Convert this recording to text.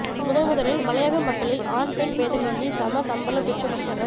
முதன் முதலில் மலையக மக்களில் ஆண் பெண் பேதமின்றி சம சம்பளம் பெற்றுக்கொடுத்தவர்